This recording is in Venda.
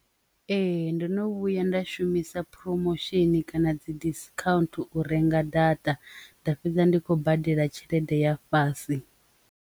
Ee, ndo no vhuya nda shumisa promotion kana dzi discount u renga data nda fhedza ndi khou badela tshelede ya fhasi.